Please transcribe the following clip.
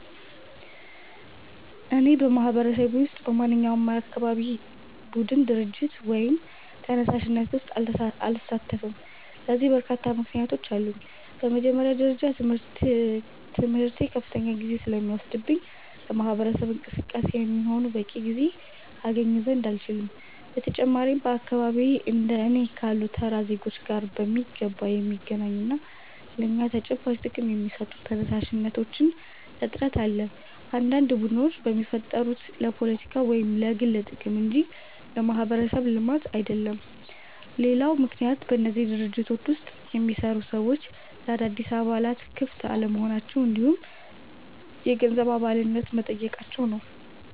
እኔ በማህበረሰቤ ውስጥ በማንኛውም የአካባቢ ቡድን፣ ድርጅት ወይም ተነሳሽነት ውስጥ አልሳተፍም። ለዚህ በርካታ ምክንያቶች አሉኝ። በመጀመሪያ ደረጃ ትምህርቴ ከፍተኛ ጊዜ ስለሚወስድብኝ ለማህበረሰብ እንቅስቃሴ የሚሆን በቂ ጊዜ አገኝ ዘንድ አልችልም። በተጨማሪም በአካባቢዬ እንደ እኔ ካሉ ተራ ዜጎች ጋር በሚገባ የሚገናኙና ለእኛ ተጨባጭ ጥቅም የሚሰጡ ተነሳሽነቶች እጥረት አለ፤ አንዳንድ ቡድኖች የሚፈጠሩት ለፖለቲካ ወይም ለግል ጥቅም እንጂ ለማህበረሰብ ልማት አይደለም። ሌላው ምክንያት በእነዚህ ድርጅቶች ውስጥ የሚሰሩ ሰዎች ለአዳዲስ አባላት ክፍት አለመሆናቸው እንዲሁም የገንዘብ አባልነት መጠየቃቸው ነው።